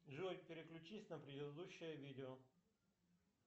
джой переключись на предыдущее видео